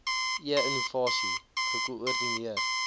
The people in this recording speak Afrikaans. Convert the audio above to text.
e innovasie gekoordineer